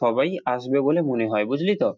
সবাই আসবে বলেমনে হয় বুঝলি তো?